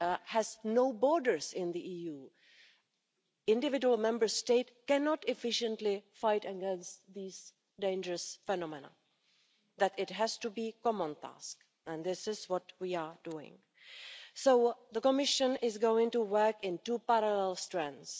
has no borders in the EU, individual Member States cannot efficiently fight against these dangerous phenomena. It has to be a common task and this is what we are doing. The Commission is going to work on two parallel strands.